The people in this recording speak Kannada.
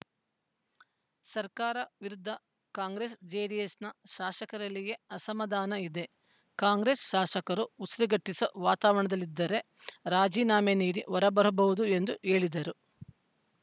ಸರ್ಕಾರ ವಿರುದ್ಧ ಕಾಂಗ್ರೆಸ್‌ಜೆಡಿಎಸ್‌ನ ಶಾಸಕರಲ್ಲಿಯೇ ಅಸಮಾಧಾನ ಇದೆ ಕಾಂಗ್ರೆಸ್‌ ಶಾಸಕರು ಉಸಿರುಗಟ್ಟಿಸುವ ವಾತಾವರಣದಲ್ಲಿದ್ದರೆ ರಾಜೀನಾಮೆ ನೀಡಿ ಹೊರಬರಬಹುದು ಎಂದು ಹೇಳಿದರು